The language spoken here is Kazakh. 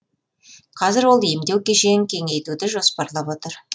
қазір ол емдеу кешенін кеңейтуді жоспарлап отыр